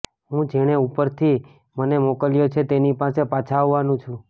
હું જેણે ઉપરથી મને મોકલ્યો છે તેની પાસે પાછા આવવાનું છું